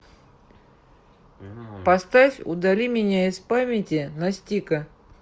поставь удали меня из памяти настика